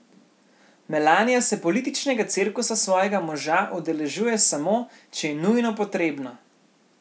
Melanija se političnega cirkusa svojega moža udeležuje samo, če je nujno potrebno.